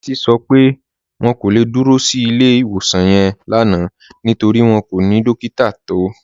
Títí sọ pé wọn kò le dúró sí ilẹ̀-iwosan yẹn lánà nítorí wọn kò ni dòkítà tó